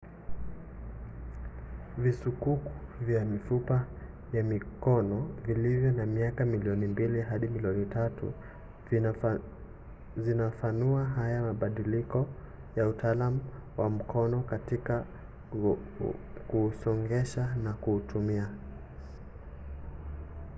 visukuku vya mifupa ya mikono vilivyo na miaka milioni mbili hadi milioni tatu vinafunua haya mabadiliko ya utaalam wa mkono kutoka kwa kuusongesha na kuutumia